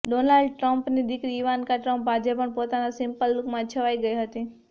Donald ટ્રમ્પની દીકરી Ivanka Trump આજે પણ પોતાના સિમ્પલ લૂકમાં છવાઈ ગઈ હતી